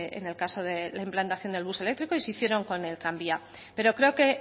en el caso de la implantación del bus eléctrico y se hicieron con el tranvía pero creo que